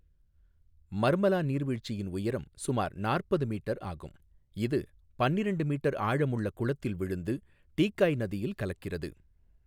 மர்மலா நீர்வீழ்ச்சியின் உயரம் சுமார் நாற்பது மீட்டர் ஆகும், இது பன்னிரெண்டு மீட்டர் ஆழமுள்ள குளத்தில் விழுந்து டீக்காய் நதியில் கலக்கிறது.